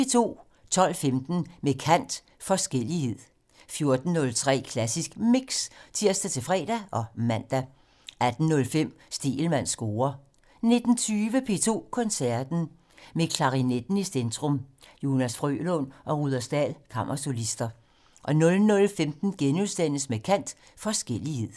12:15: Med kant - Forskellighed 14:03: Klassisk Mix (tir-fre og man) 18:05: Stegelmanns score 19:20: P2 Koncerten - Med klarinetten i centrum: Jonas Frølund og Rudersdal Kammersolister 00:15: Med kant - Forskellighed *